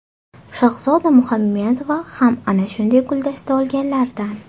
Shahzoda Muhammedova ham ana shunday guldasta olganlardan.